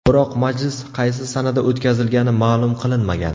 Biroq majlis qaysi sanada o‘tkazilgani ma’lum qilinmagan.